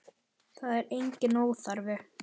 Það er enginn óþarfi.